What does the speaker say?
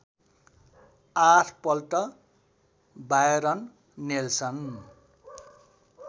आठपल्ट Byron Nelson